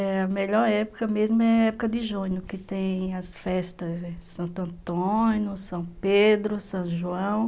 É, a melhor época mesmo é a época de junho, que tem as festas de Santo Antônio, São Pedro, São João.